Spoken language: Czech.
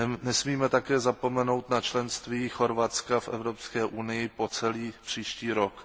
Nesmíme také zapomenout na členství Chorvatska v Evropské unii po celý příští rok.